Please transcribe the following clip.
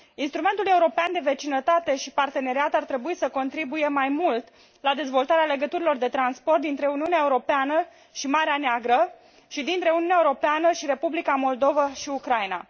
Instrumentul european de vecinătate și parteneriat ar trebui să contribuie mai mult la dezvoltarea legăturilor de transport dintre Uniunea Europeană și Marea Neagră, și dintre Uniunea Europeană și Republica Moldova și Ucraina.